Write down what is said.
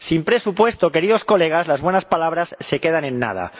Sin presupuesto, queridos colegas, las buenas palabras se quedan en nada.